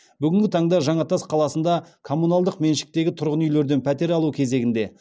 бүгінгі таңда жаңатас қаласында коммуналдық меншіктегі тұрғын үйлерден пәтер алу кезегінде